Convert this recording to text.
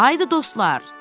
Haydı, dostlar!